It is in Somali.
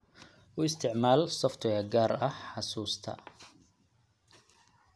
U isticmaal software gaar ah xusuusta.